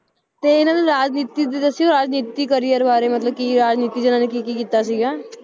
ਤੇ ਇਹਨਾਂ ਦੇ ਰਾਜਨੀਤੀ ਦੇ ਦੱਸਿਓ ਰਾਜਨੀਤੀ career ਬਾਰੇ ਮਤਲਬ ਕੀ ਰਾਜਨੀਤੀ 'ਚ ਇਹਨਾਂ ਨੇ ਕੀ ਕੀ ਕੀਤਾ ਸੀਗਾ